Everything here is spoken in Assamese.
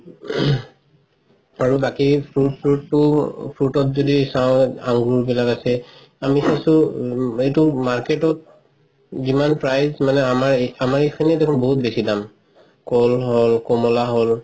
আৰু বাকি fruits চ্ৰইত্সতো fruit ত যদি চাই আঙুৰ কেইদাল আছে আমি চাইছো এইটো market ত যিমান price আমাৰ, আমাৰ এইখিনিয়ে দেখোন বহুত বেচি দাম কল হল কমলা হল